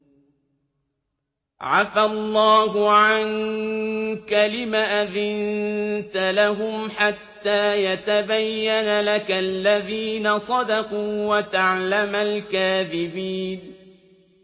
عَفَا اللَّهُ عَنكَ لِمَ أَذِنتَ لَهُمْ حَتَّىٰ يَتَبَيَّنَ لَكَ الَّذِينَ صَدَقُوا وَتَعْلَمَ الْكَاذِبِينَ